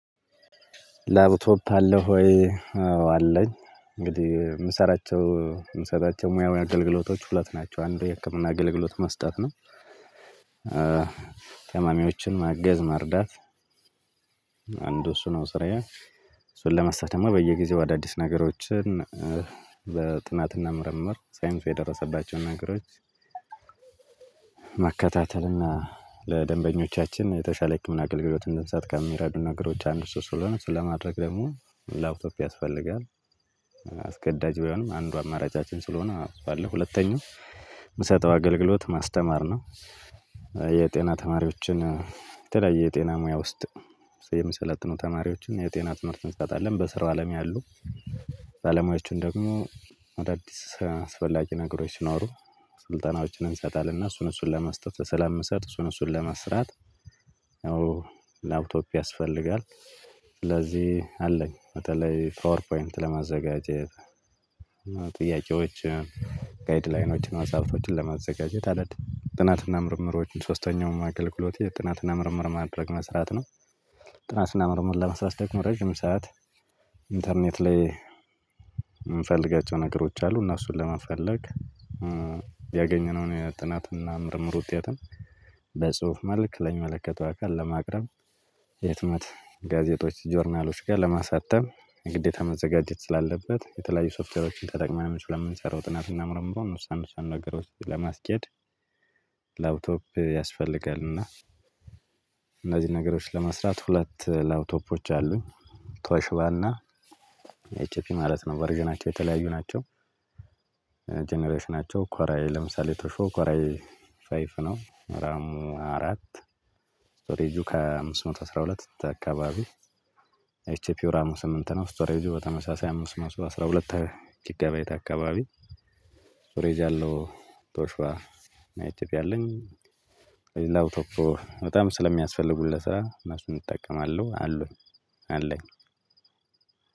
"ላፕቶፕ አለህ ወይ?" አዎ አለኝ። እንግዲህ የምሰራቸው የምሰጣቸው ሙያዊ አገልግሎቶች ሁለት ናቸው። አንዱ የህክምና አገልግሎት መስጠት ነው፣ ታማሚዎችን ማገዝ መርዳት አንዱ እሱ ነው ስራዬ እሱን ለመስራት ደግሞ በየጊዜው አዳዲስ ነገሮችን በጥናትና ምርምር ሳይንሱ የደረሰባቸውን ነገሮች መከታተልና ለደንበኞቻችን የተሻለ የህክምና አገልግሎት እንድንሰጥ ከሚረዱን ነገሮች አንዱ እሱ ስለሆነ እሱን ለማድረግ ደግሞ ላፕቶፕ ያስፈልጋል። አስገዳጅ ባይሆንም አንዱ አማራጫችን ስለሆነ አጽፋለሁ ሁለተኛው ምሰጠው አገልግሎት ማስተማር ነው። የጤና ተማሪዎችን የተለያየ የጤና ሙያ ውስጥ የሚሰለጥኑ ተማሪዎችን የጤና ትምህርት እንሰጣለን በስራው አለም ያሉ ባለሙያዎችን ደግሞ አዳዲስ አስፈላጊ ነገሮች ሲኖሩ ስልጠናዎችን እንሰጣለን እና እሱን እሱን ለመስጠት በሰላም ምሰጥ እሱን እሱን ለመስራት ያው ላፕቶፕ ያስፈልጋል ስለዚህ አለኝ በተለይ ፓወር ፖይንት ለማዘጋጀት ጥያቄዎች ጋይድ ላይኖችን መጽሐፍቶችን ለማዘጋጀት አደድ ጥናትና ምርምሮችን ሶስተኛውም አገልግሎቱ የጥናትና ምርምር ማድረግ መስራት ነው። ጥናት እና ምርምር ለመስራት ደግሞ ረዥም ሰዓት ኢንተርኔት ላይ የምፈልጋቸው ነገሮች አሉ። እነሱን ለመፈለግ ያገኘነውን የጥናትና ምርምር ውጤትን በጽሁፍ መልክ ለሚመለከተው አካል ለማቅረብ የህትመት ጋዜጦች ጆርናሎች ጋር ለማሳተም ግዴታ መዘጋጀት ስላለበት የተለያዩ ሶፍትዌሮችን ተጠቅመንም ስለምንሰራው ጥናትና ምርምሩን እነሱን እነሱን ነገሮችን ለማስኬድ ላፕቶፕ ያስፈልጋል እና እነዚህን ነገሮች ለመስራት ሁለት ላፕቶፖች አሉኝ። ቶሺባና ኤችፒ ማለት ነው ቨርዥናቸው የተለያዩ ናቸው። ጀነሬሽናቸው ኮራይ ለምሳሌ ቶሺው ኮራይ ፋይፍ ነው ራሙ አራት ስቶሬጁ ከአምስት መቶ አስራ ሁለት አካባቢ ኤችፒው ራሙ ስምንት ነው፣ ስቶሬጁ በተመሳሳይ አምስት መቶ አስራ ሁለት ጊጋባይት አካባቢ ስቶሬጅ ያለው ቶሽባ እና ኤችፒ ያለኝ። ላውቶፕ በጣም ስለሚያስፈልጉን ለስራ እነሱን እጠቀማለሁ አሉኝ አለኝ።